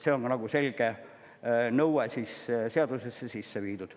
See on selge nõue seadusesse sisse viidud.